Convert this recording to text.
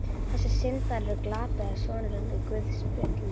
Þessi syndari er glataði sonurinn úr guðspjöllunum.